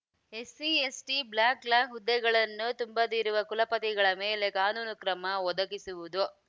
SC ST backlog ಹುದ್ದೆಗಳನ್ನು ತುಂಬದಿರುವ ಕುಲಪತಿಗಳ ಮೇಲೆ ಕಾನೂನು ಕ್ರಮ ಒದಗಿಸುವುದು